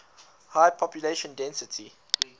high population density